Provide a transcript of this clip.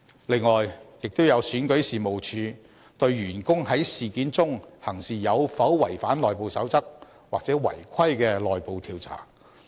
另外，亦有選舉事務處對員工在事件中行事有否違反內部守則或違規的內部調查。